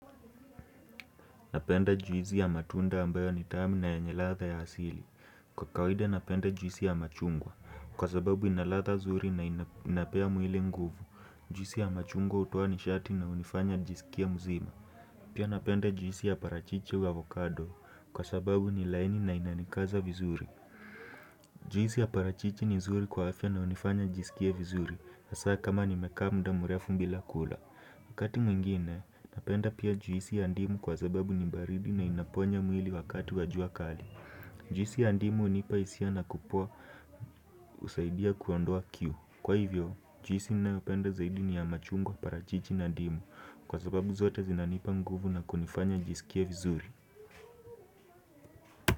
Napenda juisi ya matunda ambayo ni tamu na yenye latha ya asili. Kwa kawaida napenda juisi ya machungwa. Kwa sababu inaladha zuri na inapea mwili nguvu. Juisi ya machungwa hutoa nishati na unifanya jisikie muzima. Pia napenda juisi ya parachichi wa avocado kwa sababu ni laini na inanikaza vizuri Juisi ya parachichi ni zuri kwa afya na unifanya jisikie vizuri Asa kama nimekaa muda mrefu mbila kula Wakati mwingine napenda pia juisi ya ndimu kwa zababu ni baridi na inaponya mwili wakati wa jua kali Juisi ya ndimu unipa hisia na kupoa husaidia kuondoa kiu Kwa hivyo juisi nayopenda zaidi ni ya machungwa parachichi na ndimu Kwa sababu zote zinanipa nguvu na kunifanya nijisikie vizuri.